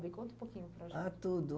conta um pouquinho para a gente. Ah, tudo.